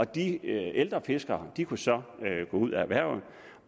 de ældre fiskere kunne så gå ud af erhvervet